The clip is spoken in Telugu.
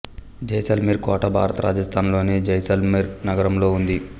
జైసల్మేర్ కోట భారత రాజస్థాన్ లోని జైసల్మేర్ నగరంలో ఉంది